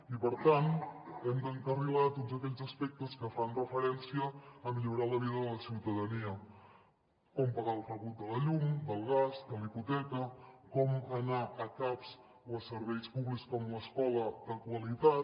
i per tant hem d’encarrilar tots aquells aspectes que fan referència a millorar la vida de la ciutadania com pagar el rebut de la llum del gas de la hipoteca com anar a caps o a serveis públics com l’escola de qualitat